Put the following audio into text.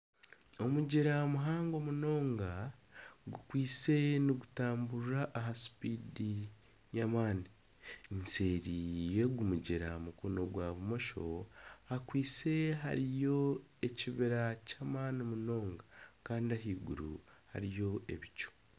Omugyera muhango munonga gukwitse nigutamurira aha sipiidi y'amani. Eseeri yogu mugyera aha mukono gwa bumosho hakwiste hariyo ekibira ky'amani munonga kandi ahaiguru hariyo ebicu.